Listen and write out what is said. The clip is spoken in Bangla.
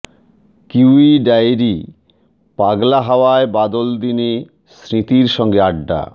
কিউই ডায়েরি পাগলা হাওয়ার বাদল দিনে স্মৃতির সঙ্গে আড্ডা